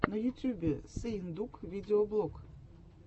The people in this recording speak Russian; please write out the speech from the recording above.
на ютьюбе сыендук видеоблог